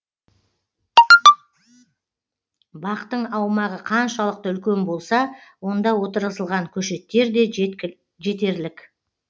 бақтың аумағы қаншалықты үлкен болса онда отырғызылған көшеттер де жетерлік